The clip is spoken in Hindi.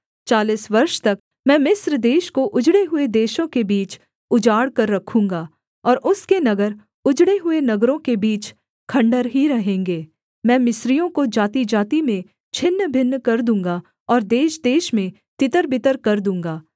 चालीस वर्ष तक मैं मिस्र देश को उजड़े हुए देशों के बीच उजाड़ कर रखूँगा और उसके नगर उजड़े हुए नगरों के बीच खण्डहर ही रहेंगे मैं मिस्रियों को जातिजाति में छिन्नभिन्न कर दूँगा और देशदेश में तितरबितर कर दूँगा